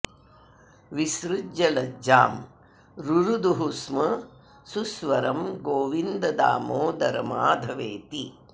विसृज्य लज्जां रुरुदुः स्म सुस्वरं गोविन्द दामोदर माधवेति